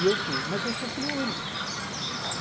E eu fui, mas eu sou filho único.